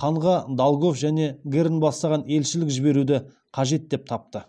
ханға долгов және герн бастаған елшілік жіберуді қажет деп тапты